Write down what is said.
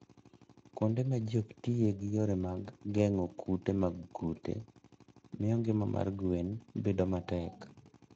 Kuonde ma ji ok tiye gi yore mag geng'o kute mag kute, miyo ngima mar gwen bedo matek.